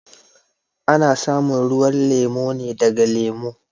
A na samun ruwan lemu ne daga lemu.